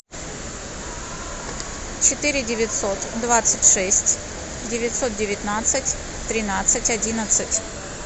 четыре девятьсот двадцать шесть девятьсот девятнадцать тринадцать одиннадцать